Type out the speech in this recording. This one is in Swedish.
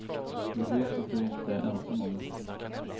Vi vet att du inte är ensam om det.